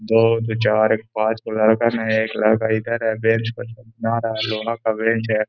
दो और दो चार एक पांच गो लड़का एक लड़का इधर है बेंच पर नहा रहा है। लोहा का बेंच है।